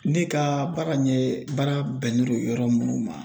Ne ka baara in ɲɛ baara bɛnnen do yɔrɔ minnu ma